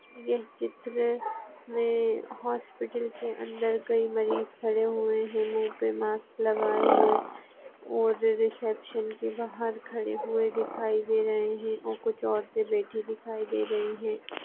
ये चित्र मे हॉस्पिटल के अंदर कई मरीज खडे हुये है मुँह पे मास्क लगाये हुये और रिसेप्शन के बहार खडे हुये दिखाई दे रहे है और कुछ औरते बैठी दिखाई दे रही है।